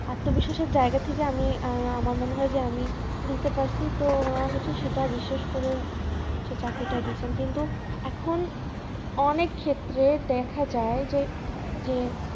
আত্মবিশ্বাস এর জায়গা থেকে আমি আমার মনে হয় যে আমি দিতে পারছি তো সেটা উনারা হচ্ছে বিশ্বাস